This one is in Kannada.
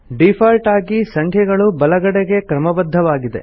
ಡೀಫಾಲ್ಟ್ ಆಗಿ ಸಂಖ್ಯೆಗಳು ಬಲಗಡೆ ಕ್ರಮಬದ್ದವಾಗಿದೆ